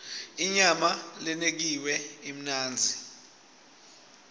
inyama lenekiwe imnandzi